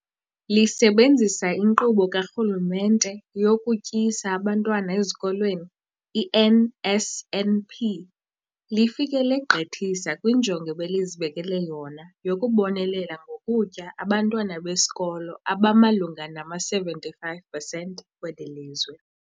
Lisebenzisa iNkqubo kaRhulumente yokuTyisa Abantwana Ezikolweni, i-NSNP, lifike legqithisa kwinjongo ebelizibekele yona yokubonelela ngokutya abantwana besikolo abamalunga nama-75 percent kweli lizwe.